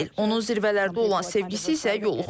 Onun zirvələrdə olan sevgisi isə yoluxucudur.